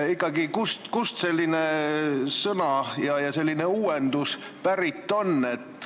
Ikkagi, kust on selline sõna ja selline uuendus pärit?